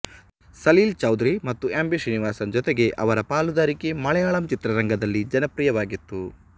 ಸಲೀಲ್ ಚೌಧರಿ ಮತ್ತು M B Sreenivasan ಜೊತೆಗೆ ಅವರ ಪಾಲುದಾರಿಕೆ ಮಲಯಾಳಂ ಚಿತ್ರರಂಗದಲ್ಲಿ ಜನಪ್ರಿಯವಾಗಿತ್ತು